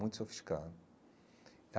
Muito sofisticado.